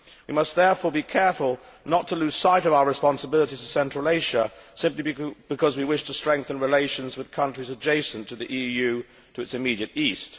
We must therefore be careful not to lose sight of our responsibilities to Central Asia simply because we wish to strengthen relations with countries adjacent to the EU to its immediate east.